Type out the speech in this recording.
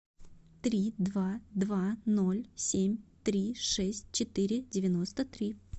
три два два ноль семь три шесть четыре девяносто три